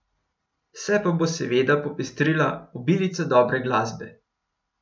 Vse pa bo seveda popestrila obilica dobre glasbe.